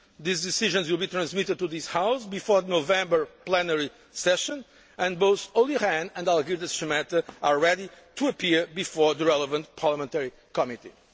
These decisions will be transmitted to this House before the November plenary session, and both Olli Rehn and Algirdas Šemeta are ready to appear before the relevant parliamentary committee.